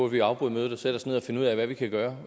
vi afbryde mødet og sætte os ned og finde ud af hvad vi kan gøre